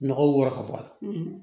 Nɔgɔ wɔrɔ ka bɔ a la